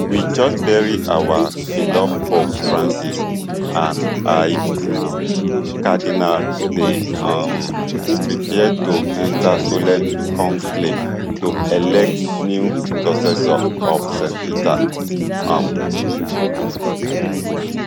we just bury our beloved pope francis and id cardinals dey um prepare to enta solemn conclave to elect new successor of st peter um